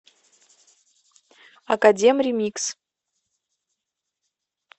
академ ремикс